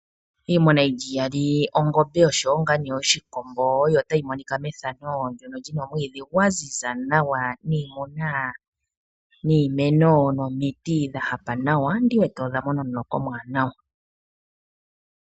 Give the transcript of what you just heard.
Iimuna yilyi iyali ongombe oshowo ngaa nee oshikombo oyo tayi monika methano ndyono lyino omwiidhi gwa ziza nawa. Niimuna, niimeno nomiiti dha dhahapa nawa ndiwete odha mona omuloka omwaanawa.